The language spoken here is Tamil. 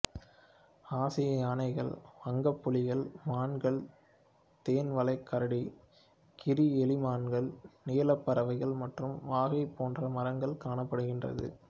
ஆசிய யாணைகள் வங்கப்புலிகள் மான்கள் தேன்வளைக்கரடி கீரி எலிமான்கள் நீலப்பறவைகள் மற்றும் வாகை போன்ற மரங்கள் காணப்படுகிறது